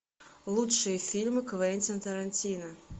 лучшие фильмы квентина тарантино